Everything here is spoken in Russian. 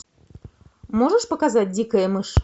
можешь показать дикая мышь